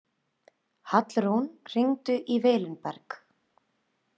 Hallrún, hringdu í Vilinberg.